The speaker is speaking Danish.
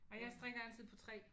Nej jeg strikker altid på 3